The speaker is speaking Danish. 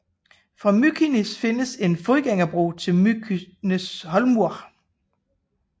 Fra Mykines findes en fodgængerbro til Mykineshólmur